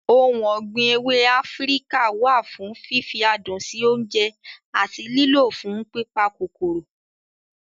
Ohun ọ̀gbìn ewé Áfíríkà wà fún fífi adùn sí oúnjẹ àti lílọ̀ fún pípa kòkòrò.